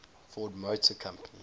ford motor company